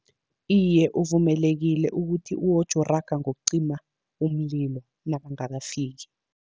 Iye, uvumelekile ukuthi uwoje uraga ngokucima umlilo nabangakafiki.